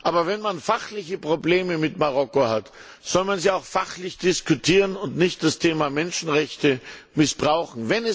Aber wenn man fachliche Probleme mit Marokko hat, soll man sie auch fachlich diskutieren und nicht das Thema Menschenrechte missbrauchen.